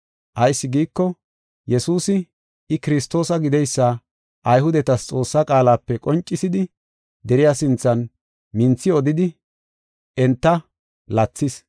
Ayis giiko, Yesuusi, I, Kiristoosa gideysa Ayhudetas Xoossaa qaalape qoncisidi deriya sinthan minthi odidi enta lathis. Phawuloosi Wongela Sabbakanaw Bida Heedzantho Ogiya